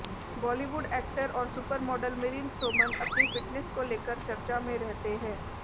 Bollywood actor और super model Milind Soman अपनी fitness को लेकर चर्चा में रहते हैं